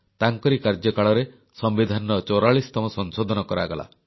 ତାଙ୍କରି କାର୍ଯ୍ୟକାଳରେ ସମ୍ବିଧାନର 44ତମ ସଂଶୋଧନ କରାଗଲା